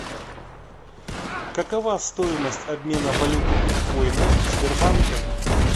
какова стоимость обмена валюты биткоина в сбербанке